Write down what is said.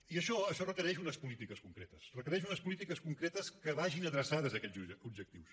i això requereix unes polítiques concretes requereix unes polítiques concretes que vagin adreçades a aquests objectius